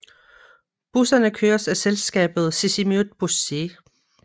Busserne køres af selskabet Sisimiut Bussii